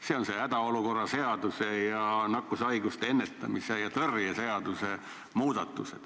See on see hädaolukorra seaduse ning nakkushaiguste ennetamise ja tõrje seaduse muudatus.